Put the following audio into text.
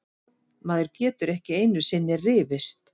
Maður getur ekki einusinni rifist!